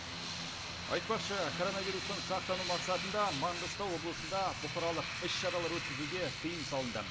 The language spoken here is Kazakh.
айтпақшы коронавирустан сақтану мақсатында маңғыстау облысында бұқаралық іс шаралар өткізуге тыйым салынды